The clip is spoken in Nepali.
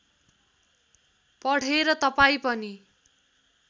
पढेर तपाईँ पनि